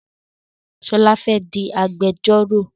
Ṣọlá fẹ́ di agbẹjọ́rò.